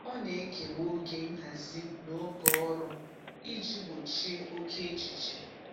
Ọ na-ekewa oge nhazi na oge ọrụ iji gbochie oke echiche.